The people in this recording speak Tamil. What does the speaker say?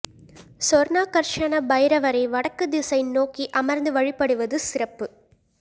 சொர்ணாகர்ஷண பைரவரை வடக்கு திசை நோக்கி அமர்ந்து வழிபடுவது சிறப்பு